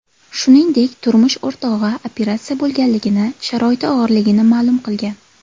Shuningdek, turmush o‘rtog‘i operatsiya bo‘lganligini, sharoiti og‘irligini ma’lum qilgan.